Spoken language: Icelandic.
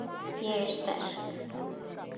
Ég er sterk.